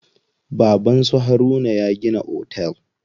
Baban su Haruna ya gina otel.